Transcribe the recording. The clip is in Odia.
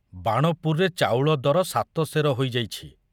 ବାଣପୁରରେ ଚାଉଳ ଦର ସାତସେର ହୋଇଯାଇଛି।